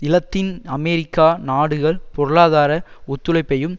இலத்தின் அமெரிக்க நாடுகள் பொருளாதார ஒத்துழைப்பையும்